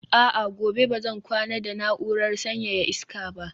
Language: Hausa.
a'a, gobe ba zan kwana da na'urar sanyaya iska ba